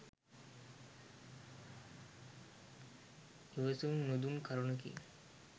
ඉවසුම් නුදුන් කරුණකි.